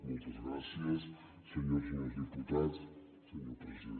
moltes gràcies senyores i senyors diputats senyor president